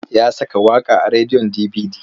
Ya saka waƙa a rediyon dibidi.